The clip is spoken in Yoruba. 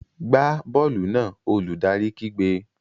Gbá bọ́ọ̀lù náà! Olùdarí kígbe.